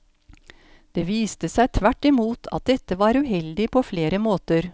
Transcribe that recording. Det viste seg tvert i mot at dette var uheldig på flere måter.